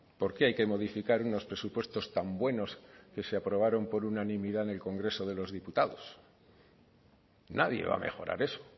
por qué hay que modificar unos presupuestos tan buenos que se aprobaron por unanimidad en el congreso de los diputados nadie va a mejorar eso